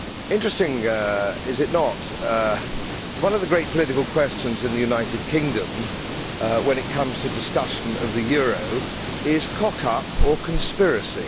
Interesting, is it not, that one of the great political questions in the United Kingdom when it comes to discussion of the euro is cock up or conspiracy.